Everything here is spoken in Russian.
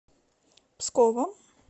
псковом